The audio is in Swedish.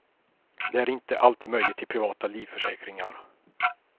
Det är inte alltid möjligt i privata livförsäkringar.